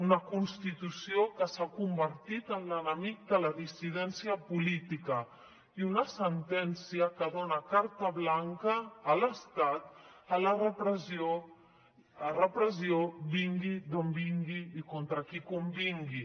una constitució que s’ha convertit en l’enemic de la dissidència política i una sentència que dona carta blanca a l’estat a la repressió vingui d’on vingui i contra qui convingui